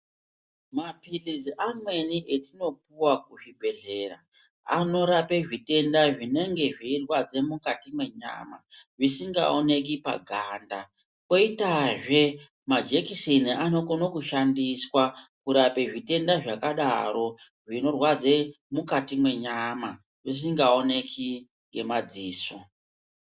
Mapirizi amweni atinopuwa kuzvibhadhlera anorape zvitenda zvinenge zveirwadze mukati mwenyana zvinenge zvisikaoneki paganda, kwoitazve majekiseni anokone kushandiswa kurape zvitenda zvakadaro zvinorwadze mukati menyama, zvisingaoneki ngemadziso.